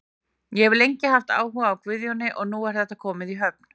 Ég hef lengi haft áhuga á Guðjóni og nú er þetta komið í höfn.